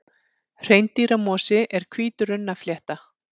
Hreindýramosi er hvít runnaflétta.